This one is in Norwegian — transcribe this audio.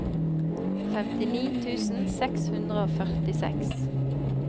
femtini tusen seks hundre og førtiseks